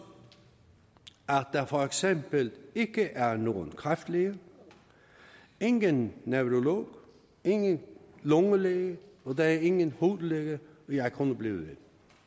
at der for eksempel ikke er nogen kræftlæge ingen neurolog ingen lungelæge og der er ingen hudlæge og jeg kunne blive ved